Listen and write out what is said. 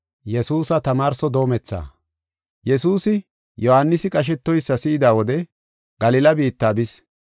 Yesuusi, Yohaanisi qashetoysa si7ida wode Galila biitta bis.